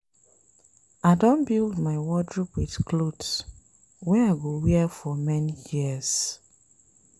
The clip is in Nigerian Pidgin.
I don build my wardrobe wit clothes wey I go wear for many years.